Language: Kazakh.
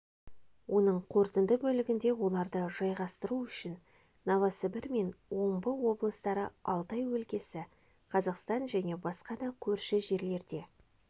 оның қорытынды бөлігінде оларды жайғастыру үшін новосібір мен омбы облыстары алтай өлкесі қазақстан және басқа да көрші жерлерде